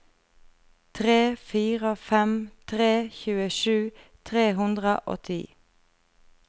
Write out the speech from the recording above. tre fire fem tre tjuesju tre hundre og ti